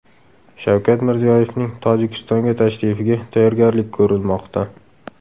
Shavkat Mirziyoyevning Tojikistonga tashrifiga tayyorgarlik ko‘rilmoqda.